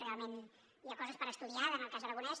realment hi ha coses per estudiar en el cas aragonès